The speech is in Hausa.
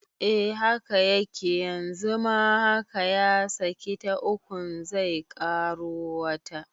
Eh haka yake yanzu ma haka ya saki ta ukun zai ƙaro wata